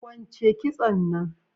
Kwunche kitson nan